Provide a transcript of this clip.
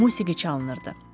Musiqi çalınırdı.